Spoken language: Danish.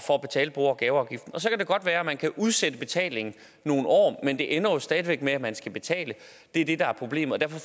for at betale bo og gaveafgiften og så kan det godt være at man kan udsætte betalingen nogle år men det ender jo stadig væk med at man skal betale det er det der er problemet og derfor